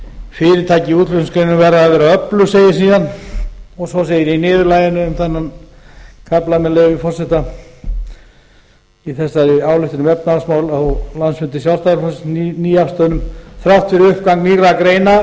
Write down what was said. fyrirtæki útflutningsgreinanna verða að vera öflug segir síðan og svo segir í niðurlaginu um þennan kafla með leyfi forseta í þessari ályktun um efnahagsmál á landsfundi sjálfstæðisflokksins nýafstöðnum þrátt fyrir uppgang nýrra greina